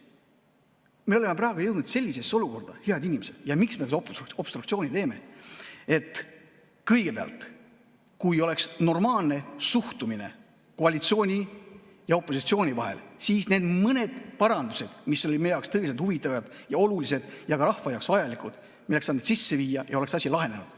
Me oleme praegu jõudnud sellisesse olukorda, head inimesed, miks me seda obstruktsiooni teeme, et kõigepealt, kui oleks normaalne suhtumine koalitsiooni ja opositsiooni vahel, siis me oleks need mõned parandused, mis olid meie jaoks tõeliselt huvitavad ja olulised ja ka rahva jaoks vajalikud, saanud sisse viia ja oleks asi lahenenud.